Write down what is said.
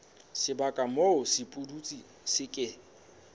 sebaka moo sepudutsi se ke